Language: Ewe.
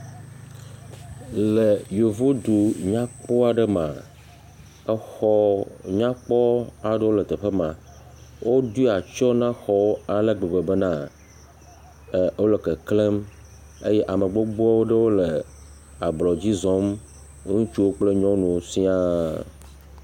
Le Yevodu nyakpɔ aɖe mea, exɔ nyakpɔ aɖewo le teƒe ma. Woɖo atsyɔ̃ na xɔwo ale gbegbe bena ɛɛ wole keklẽm eye ame gbogbo aɖewo le ablɔdzi zɔm ŋutsuwo kple nyɔnuwo siaa.